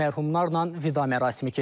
Mərhumlarla vida mərasimi keçirilib.